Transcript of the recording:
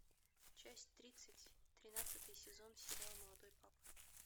часть тридцать тринадцатый сезон сериал молодой папа